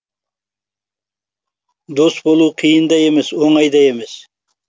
дос болу қиын да емес оңай да емес